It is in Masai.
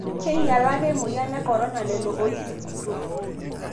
Kinyalaka emoyian e Corona lelo oisikutua